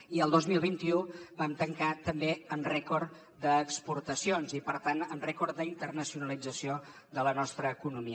i el dos mil vint u vam tancar també amb rècord d’exportacions i per tant amb rècord d’internacionalització de la nostra economia